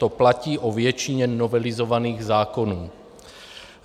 To platí o většině novelizovaných zákonů.